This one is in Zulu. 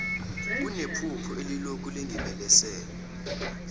kunephupho elilokhu lingibelesele